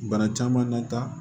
Bana caman na tan